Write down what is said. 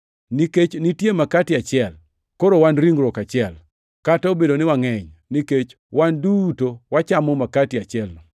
Nikech nitie makati achiel, koro wan ringruok achiel, kata obedo ni wangʼeny, nikech wan duto wachamo makati achielno.